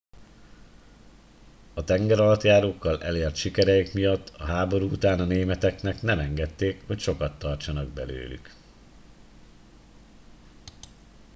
a tengeralattjárókkal elért sikereik miatt a háború után a németeknek nem engedték hogy sokat tartsanak belőlük